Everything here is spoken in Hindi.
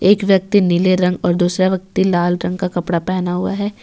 एक व्यक्ति नीले रंग और दूसरा व्यक्ति लाल रंग का कपड़ा पहना हुआ है।